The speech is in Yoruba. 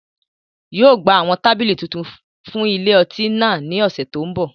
yóò gba awọn tabili tuntun fun ile-ọti ni náà ọsẹ to nbọ.